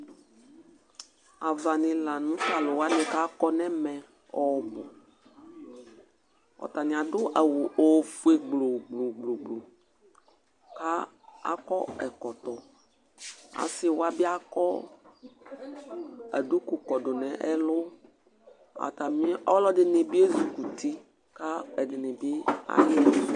avanilanũ taluanï kakɔnɛmɛ ɔbʊ ɔtaniadũ awu ọfũé gblugblu akɔ ɛkɔtɔ assïwa biaƙɔ aduku kɔdu nɛlu atamiu ɔlɔdini biezukutị ka ɛdinibi ayɛvũ